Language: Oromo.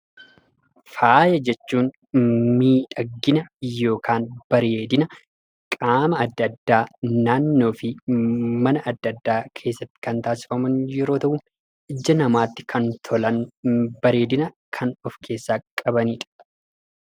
Faaya jechuun bareedina yookiin miidhaginaa qaama adda addaa yookiin meeshaalee mana addaa irratti kan taassifamu yemmuu ta'u ija namaatti kan tolanidha.